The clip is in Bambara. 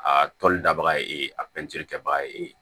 A tɔli dabaga ye e a kɛbaga ye e ye